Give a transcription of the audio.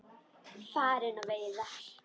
Farin á veiðar.